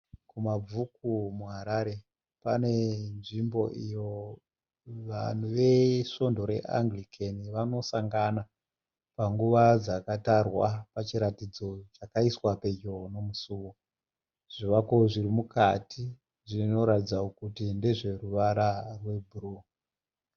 Kumabvuku muHarare. Pane nzvimbo iyo vanhu vesvondo reAngirikeni vanosangana, pangu dzakatarwa pachiratidzo chakaisiwa pedyo nemusuwo. Zvivako zviri mukati zvinoratidza kuti ndezveruvara rwe bhuruwu .